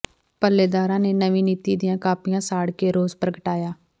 ਪੱਲੇਦਾਰਾਂ ਨੇ ਨਵੀਂ ਨੀਤੀ ਦੀਆਂ ਕਾਪੀਆਂ ਸਾੜ ਕੇ ਰੋਸ ਪ੍ਰਗਟਾਇਆ